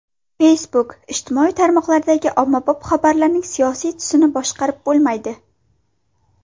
Facebook: ijtimoiy tarmoqdagi ommabop xabarlarning siyosiy tusini boshqarib bo‘lmaydi.